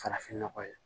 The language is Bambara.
Farafin nɔgɔ ye